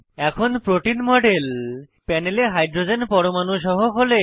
এখন protein model প্যানেলে hydrogen পরমাণু সহ খোলে